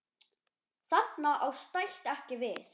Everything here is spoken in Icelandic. Þarna á stætt ekki við.